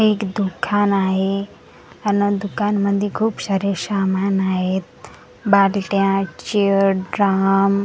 एक दुखान आहे अन दुकान मध्ये खूप सारे सामान आहेत बालट्या चेअर ड्रम .